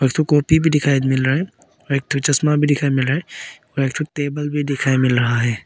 इक ठो कॉपी भी दिखाई मिल रहा है एक ठो चश्मा भी दिखाई मिल रहा है एक ठो टेबल भी दिखाई मिल रहा है।